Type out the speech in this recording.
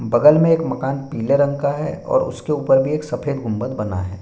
बगल में एक मकान पीले रंग का है और उसके ऊपर भी एक सफ़द गुंम्बद बना है।